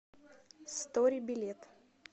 стори билет